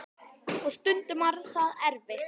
Og stundum var það erfitt.